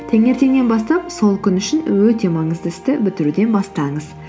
таңертеңнен бастап сол күн үшін өте маңызды істі бітіруден бастаңыз